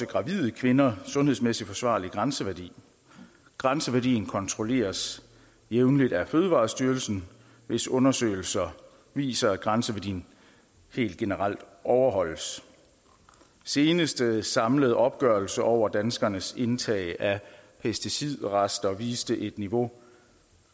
gravide kvinder sundhedsmæssigt forsvarlig grænseværdi grænseværdien kontrolleres jævnligt af fødevarestyrelsen hvis undersøgelser viser at grænseværdien helt generelt overholdes seneste samlede opgørelse over danskernes indtag af pesticidrester viste et niveau